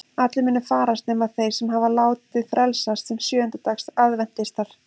Allir munu farast nema þeir sem hafa látið frelsast sem sjöunda dags aðventistar.